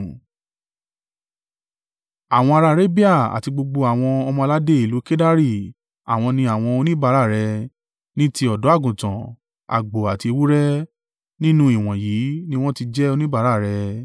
“ ‘Àwọn ará Arabia àti gbogbo àwọn ọmọ-aládé ìlú Kedari àwọn ni àwọn oníbàárà rẹ; ní ti ọ̀dọ́-àgùntàn, àgbò àti ewúrẹ́, nínú ìwọ̀nyí ni wọ́n ti jẹ́ oníbàárà rẹ.